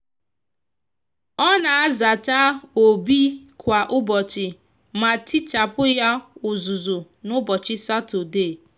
o n'azacha obi kwa ubochi ma tichapu ya uzuzu n'ubochi satode.